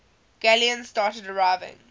galleons started arriving